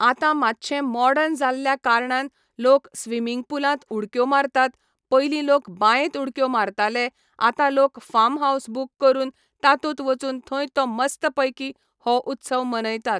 आतां मातशें मॉडर्न जाल्ल्या कारणान लोक स्विमिंग पुलांत उडक्यो मारतात पयलीं लोक बायेंत उडक्यो मारताले आतां लोक फार्म हावस बूक करून तातूंत वचून थंय तो मस्त पैकी हो उत्सव मनयतात.